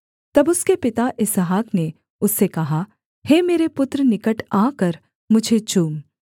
तब उसके पिता इसहाक ने उससे कहा हे मेरे पुत्र निकट आकर मुझे चूम